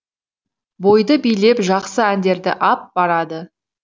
бойды билеп жақсы әндерді ап барады